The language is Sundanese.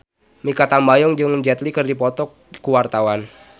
Mikha Tambayong jeung Jet Li keur dipoto ku wartawan